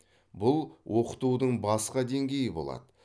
бұл оқытудың басқа деңгейі болады